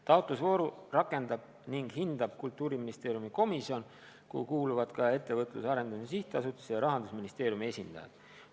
Taotlusvooru rakendab ning hindab Kultuuriministeeriumi komisjon, kuhu kuuluvad ka Ettevõtluse Arendamise Sihtasutuse ja Rahandusministeeriumi esindajad.